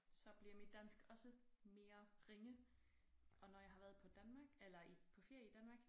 Så bliver mit dansk også mere ringe og når jeg har været på Danmark eller i på ferie i Danmark